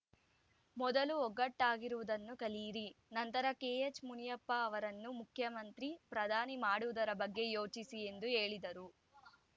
ಮೊದಲು ಒಗ್ಗಟ್ಟಾಗಿರುವುದನ್ನು ಕಲಿಯಿರಿ ನಂತರ ಕೆಎಚ್‌ಮುನಿಯಪ್ಪ ಅವರನ್ನು ಮುಖ್ಯಮಂತ್ರಿ ಪ್ರಧಾನಿ ಮಾಡುವುದರ ಬಗ್ಗೆ ಯೋಚಿಸಿ ಎಂದು ಹೇಳಿದರು